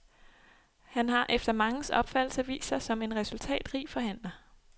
Han har efter manges opfattelse vist sig som en resultatrig forhandler.